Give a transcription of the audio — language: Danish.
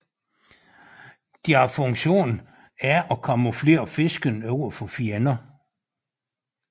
Deres funktion er at camouflere fisken over for fjender